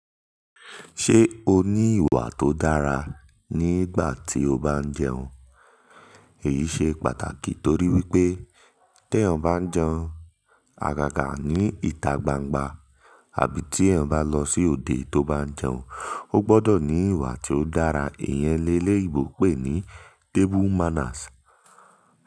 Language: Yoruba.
Ṣé o ní ìwà tó dára nígbà tí o bá ń jẹun? Èyí ṣe pàtàkì torí wípé tí èèyàn bá ń jẹun àgàgà ní ìta gbangba àbí tí èèyàn bá lọ sí òde tó bá ń jẹun, ó gbọ́dọ̀ ní ìwà tí ó dára. Ìyẹn ni eléyinbo ń pè ní table manners.